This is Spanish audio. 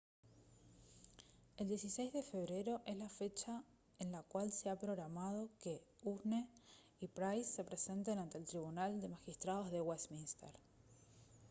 el 16 de febrero es la fecha en la cual se ha programado que huhne y pryce se presenten ante el tribunal de magistrados de westminster